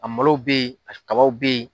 A malo bɛ yen al kaba bɛ yen.